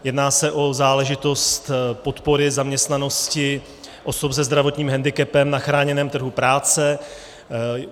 Jedná se o záležitost podpory zaměstnanosti osob se zdravotním hendikepem na chráněném trhu práce.